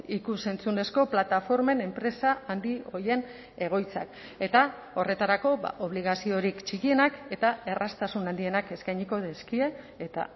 ikus entzunezko plataformen enpresa handi horien egoitzak eta horretarako obligaziorik txikienak eta erraztasun handienak eskainiko dizkie eta